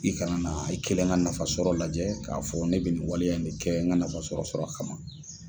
I kana na i kelen ka nafa sɔrɔ lajɛ k'a fɔ ne be nin waleya in ne kɛ n ka nafa sɔrɔ sɔrɔ kama